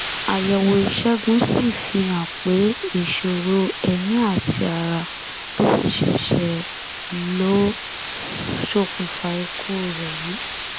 àyẹ̀wò ìṣègùn sì fihàn pé ìṣòro èémí àti ara tó fi ṣẹ̀ṣẹ̀ lọ sókunfà ikú rẹ̀ yìí